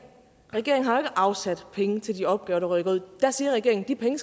regeringen har jo afsat penge til de opgaver der rykker ud der siger regeringen at de penge